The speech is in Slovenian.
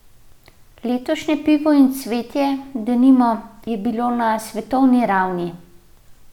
Letošnje Pivo in cvetje, denimo, je bilo na svetovni ravni.